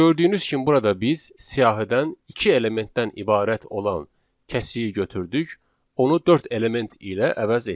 Gördüyünüz kimi burada biz siyahıdan iki elementdən ibarət olan kəsiyi götürdük, onu dörd element ilə əvəz etdik.